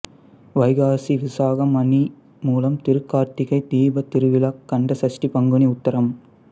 வைகாசி விசாகம் ஆனி மூலம் திருக் கார்த்திகை தீபத் திருவிழா கந்த சஷ்டி பங்குனி உத்திரம்